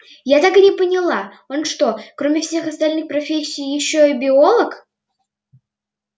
я так и не поняла он что кроме всех остальных профессий ещё и биолог